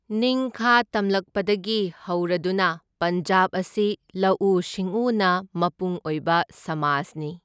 ꯅꯤꯡꯈꯥ ꯇꯝꯂꯛꯄꯗꯒꯤ ꯍꯧꯔꯗꯨꯅ ꯄꯟꯖꯥꯕ ꯑꯁꯤ ꯂꯧꯎ ꯁꯤꯡꯎꯅ ꯃꯄꯨꯡ ꯑꯣꯏꯕ ꯁꯃꯥꯖꯅꯤ꯫